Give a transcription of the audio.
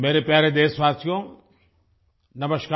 मेरे प्यारे देशवासियो नमस्कार